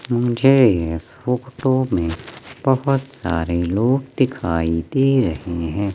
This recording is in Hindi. मुझे इस फोटो में बहुत सारे लोग दिखाई दे रहे हैं।